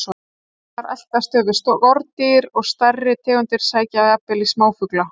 Þar eltast þau við skordýr og stærri tegundir sækja jafnvel í smáfugla.